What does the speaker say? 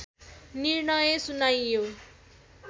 निर्णय सुनाइयो